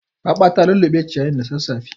Raɓa ta lulluɓe ciyayin da sassafe.